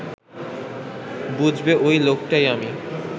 বুঝবে ওই লোকটাই আমি